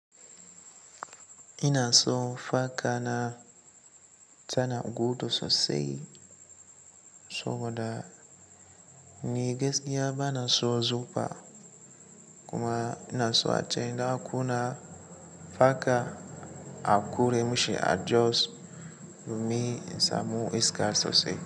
Ina son faka na tana gudu sosai saboda ni gaskiya bana son zufa kuma ina so a ce ina kuna faka a ƙure musha adjust domin in samu iska sosai.